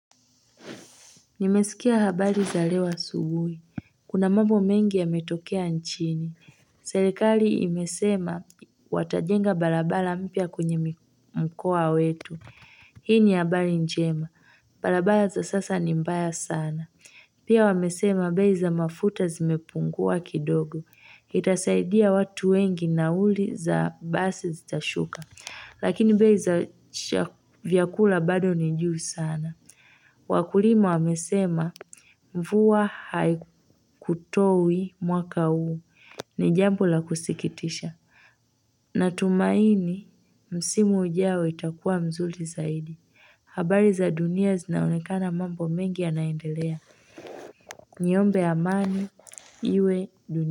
Nimesikia habari za leo asubuhi. Kuna mambo mengi ya metokea nchini. Serikali imesema watajenga barabara mpya kwenye mkoa wetu. Hii ni habari njema. Barabara za sasa ni mbaya sana. Pia wamesema bei za mafuta zimepungua kidogo. Itasaidia watu wengi nauli za basi zitashuka. Lakini bei za vyakula bado nijuu sana. Wakulima wamesema mvua haikutowi mwaka huu ni jambo la kusikitisha Natumaini msimu ujao itakuwa mzuri zaidi habari za dunia zinaonekana mambo mengi yanaendelea Niombe amani iwe dunia.